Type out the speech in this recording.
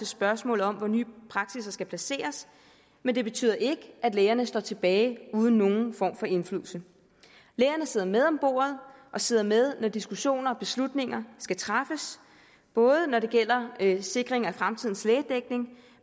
spørgsmålet om hvor nye praksisser skal placeres men det betyder ikke at lægerne står tilbage uden nogen form for indflydelse lægerne sidder med om bordet og sidder med når diskussioner og beslutninger skal træffes både når det gælder sikring af fremtidens lægedækning